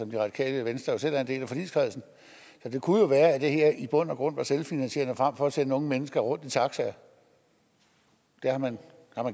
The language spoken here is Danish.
det radikale venstre jo selv er en del af forligskredsen så det kunne jo være at det her i bund og grund var selvfinansierende frem for at sende unge mennesker rundt i taxaer har man